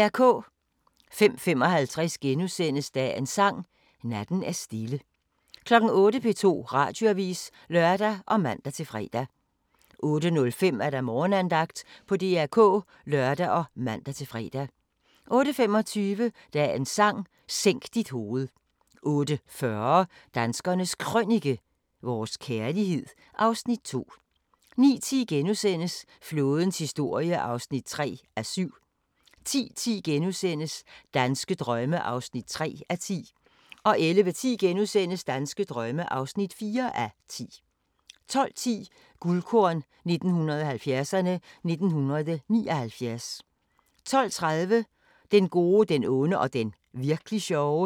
05:55: Dagens Sang: Natten er stille * 08:00: P2 Radioavis (lør og man-fre) 08:05: Morgenandagten på DR K (lør og man-fre) 08:25: Dagens Sang: Sænk dit hoved 08:40: Danskernes Krønike - vores kærlighed (Afs. 2) 09:10: Flådens historie (3:7)* 10:10: Danske drømme (3:10)* 11:10: Danske drømme (4:10)* 12:10: Guldkorn 1970'erne: 1979 12:30: Den gode, den onde og den virk'li sjove